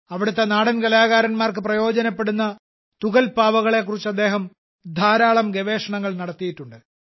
അവിടത്തെ നാടൻ കലാകാരന്മാർക്ക് പ്രയോജനപ്പെടുന്ന തുകൽ പാവകളെ കുറിച്ച് അദ്ദേഹം ധാരാളം ഗവേഷണങ്ങൾ നടത്തിയിട്ടുണ്ട്